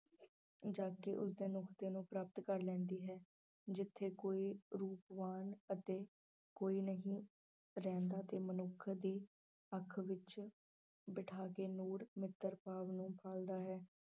ਜਾ ਕੇ ਨੂੰ ਪ੍ਰਾਪਤ ਕਰ ਲੈਂਦੀ ਹੈ ਜਿੱਥੇ ਕੋਈ ਰੂਪਵਾਨ ਅਤੇ ਕੋਈ ਨਹੀਂ ਰਹਿੰਦਾ ਤੇ ਮਨੁੱਖ ਦੀ ਅੱਖ ਵਿੱਚ ਬਿਠਾ ਕੇ ਨੂਰ ਮਿੱਤਰ ਭਾਵ ਨੂੰ ਪਾਲਦਾ ਹੈ।